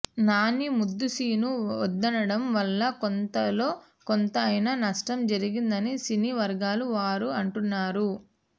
నాని ముద్దు సీన్ను వద్దనడం వల్ల కొంతలో కొంత అయినా నష్టం జరిగిందని సినీ వర్గాల వారు అంటున్నారు